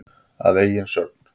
Að eigin sögn.